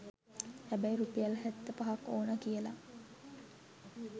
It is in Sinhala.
හැබැයි රුපියල් හැත්ත පහක් ඕන කියල